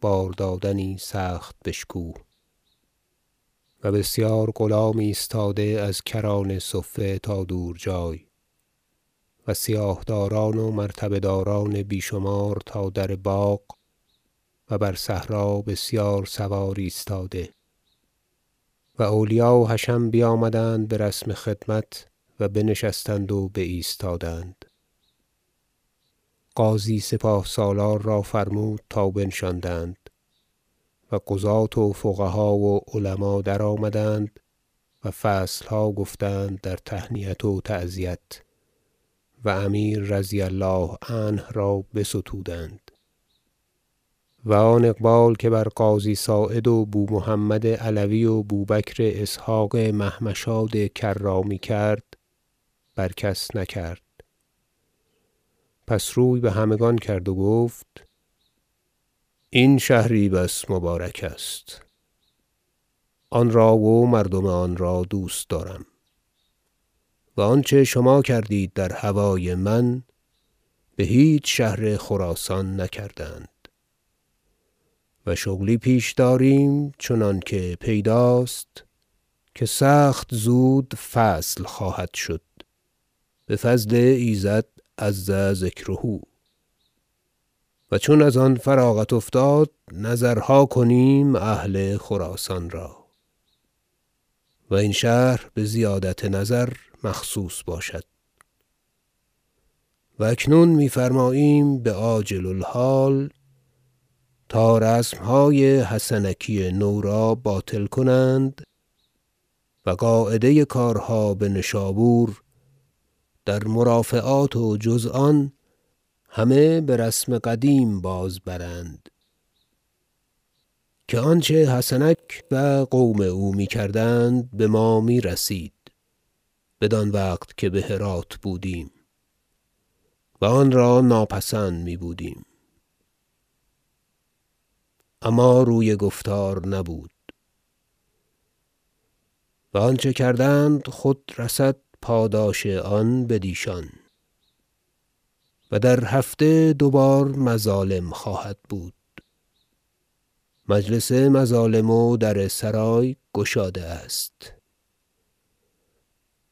باردادنی سخت بشکوه و بسیار غلام ایستاده از کران صفه تا دور جای و سیاه دار ان و مرتبه دار ان بی شمار تا در باغ و بر صحرا بسیار سوار ایستاده و اولیاء و حشم بیامدند به رسم خدمت و بنشستند و بایستادند غازی سپاه سالار را فرمود تا بنشاندند و قضات و فقها و علما درآمدند و فصل ها گفتند در تهنیت و تعزیت و امیر -رضي الله عنه- را بستودند و آن اقبال که بر قاضی صاعد و بومحمد علوی و بوبکر اسحق محمشاد کرامی کرد بر کس نکرد پس روی به همگان کرد و گفت این شهری بس مبارک است آن را و مردم آن را دوست دارم و آنچه شما کردید در هوای من به هیچ شهر خراسان نکردند و شغلی پیش داریم چنانکه پیداست که سخت زود فصل خواهدشد به فضل ایزد -عز ذکره- و چون از آن فراغت افتاد نظرها کنیم اهل خراسان را و این شهر به زیادت نظر مخصوص باشد و اکنون می فرماییم به عاجل الحال تا رسم های حسنکی نو را باطل کنند و قاعده کارها به نشابور در مرافعات و جز آن همه به رسم قدیم بازبرند که آنچه حسنک و قوم او می کردند به ما می رسید بدان وقت که به هرات بودیم و آنرا ناپسند می بودیم اما روی گفتار نبود و آنچه کردند خود رسد پاداش آن بدیشان و در هفته دو بار مظالم خواهدبود مجلس مظالم و در سرای گشاده است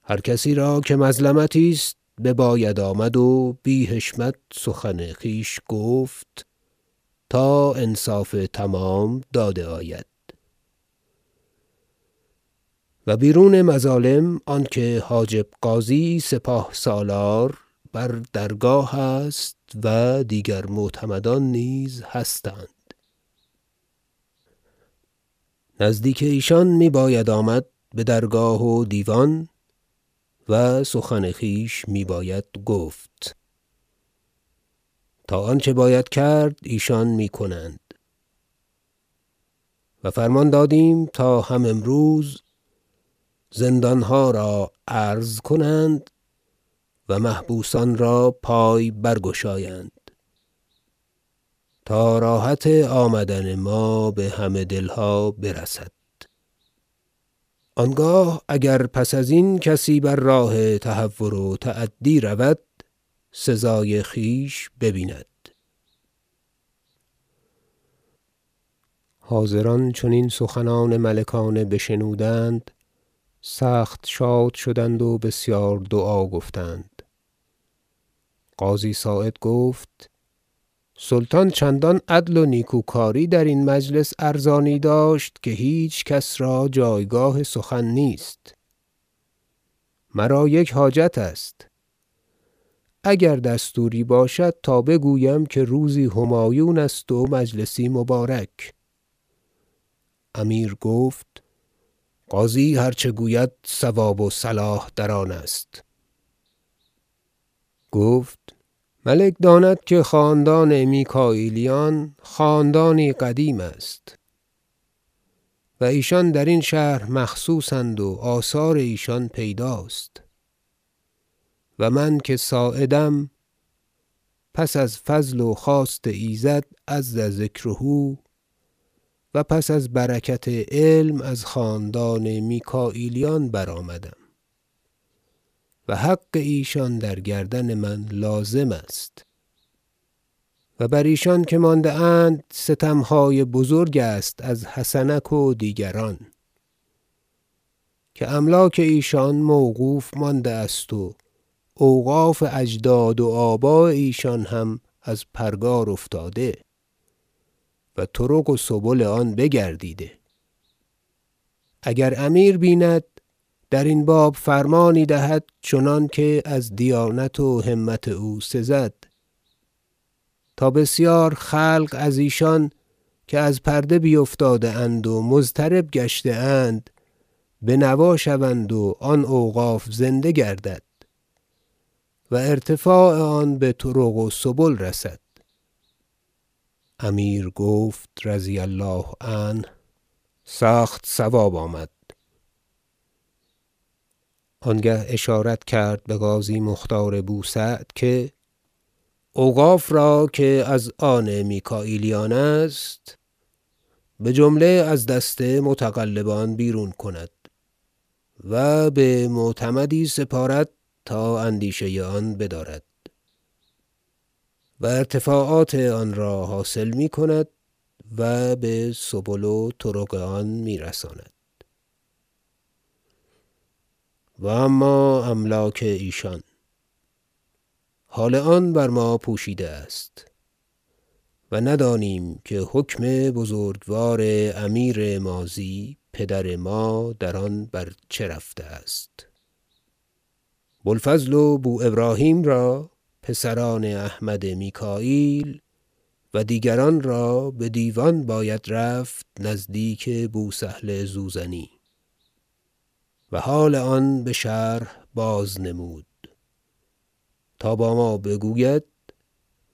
هر کسی را که مظلمتی است بباید آمد و بی حشمت سخن خویش گفت تا انصاف تمام داده آید و بیرون مظالم آنکه حاجب غازی سپاه سالار بر درگاه است و دیگر معتمدان نیز هستند نزدیک ایشان نیز می باید آمد به درگاه و دیوان و سخن خویش می باید گفت تا آنچه باید کرد ایشان می کنند و فرمان دادیم تا هم امروز زندان ها را عرض کنند و محبوسان را پای برگشایند تا راحت آمدن ما به همه دل ها برسد آنگاه اگر پس از این کسی بر راه تهور و تعدی رود سزای خویش ببیند حاضران چون این سخنان ملکانه بشنودند سخت شاد شدند و بسیار دعا گفتند قاضی صاعد گفت سلطان چندان عدل و نیکوکاری در این مجلس ارزانی داشت که هیچ کس را جایگاه سخن نیست مرا یک حاجت است اگر دستوری باشد تا بگویم که روزی همایون است و مجلسی مبارک امیر گفت قاضی هر چه گوید صواب و صلاح در آن است گفت ملک داند که خاندان میکاییلیان خاندانی قدیم است و ایشان در این شهر مخصوص اند و آثار ایشان پیداست و من که صاعدم پس از فضل و خواست ایزد -عز ذکره- و پس از برکت علم از خاندان میکاییلیان برآمدم و حق ایشان در گردن من لازم است و بر ایشان که مانده اند ستم های بزرگ است از حسنک و دیگران که املاک ایشان موقوف مانده است و اوقاف اجداد و آباء ایشان هم از پرگار افتاده و طرق و سبل آن بگردیده اگر امیر بیند در این باب فرمانی دهد چنانکه از دیانت و همت او سزد تا بسیار خلق از ایشان که از پرده بیفتاده اند و مضطرب گشته اند بنوا شوند و آن اوقاف زنده گردد و ارتفاع آن به طرق و سبل رسد امیر گفت -رضي الله عنه- سخت صواب آمد آنگه اشارت کرد به قاضی مختار بو سعد که اوقاف را که از آن میکاییلیان است به جمله از دست متغلبان بیرون کند و به معتمدی سپارد تا اندیشه آن بدارد و ارتفاعات آنرا حاصل می کند و به سبل و طرق آن می رساند و اما املاک ایشان حال آن بر ما پوشیده است و ندانیم که حکم بزرگوار امیر ماضی پدر ما در آن بر چه رفته است بوالفضل و بو ابراهیم را پسران احمد میکاییل و دیگران را به دیوان باید رفت نزدیک بو سهل زوزنی و حال آن به شرح بازنمود تا با ما بگوید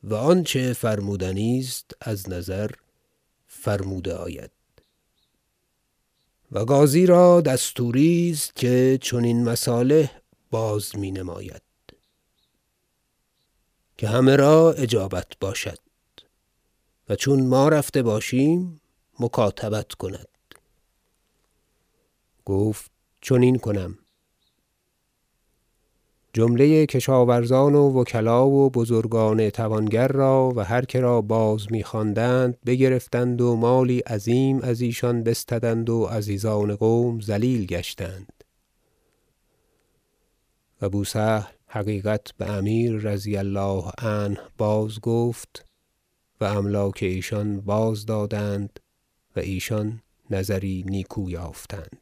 و آنچه فرمودنی است از نظر فرموده آید و قاضی را دستوری است که چنین مصالح بازمی نماید که همه را اجابت باشد و چون ما رفته باشیم مکاتبت کند گفت چنین کنم و بسیار ثنا کردند و جمله کسان و پیوستگان میکاییلیان به دیوان رفتند و حال بازنمودند که جمله کشاورزان و وکلا و بزرگان توانگر را و هر که را بازمی خواندند بگرفتند و مالی عظیم از ایشان بستدند و عزیزان قوم ذلیل گشتند و بو سهل حقیقت به امیر -رضی الله عنه- بازگفت و املاک ایشان بازدادند و ایشان نظری نیکو یافتند